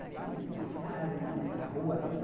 Aqui nessa casa, aqui nessa rua.